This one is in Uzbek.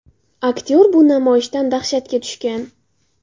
Aktyor bu namoyishdan dahshatga tushgan.